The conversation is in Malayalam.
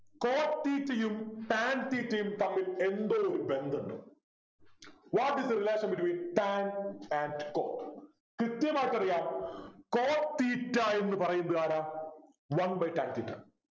cot theta യും tan theta യും തമ്മിൽ എന്തോ ഒരു ബന്ധമുണ്ട് What is the relation between tan and Cot കൃത്യമായിട്ടറിയാം cot theta എന്ന് പറയുന്നത് ആരാ One by tan theta